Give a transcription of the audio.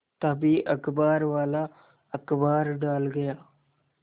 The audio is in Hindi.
तभी अखबारवाला अखबार डाल गया